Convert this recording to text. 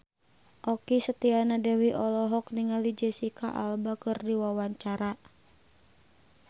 Okky Setiana Dewi olohok ningali Jesicca Alba keur diwawancara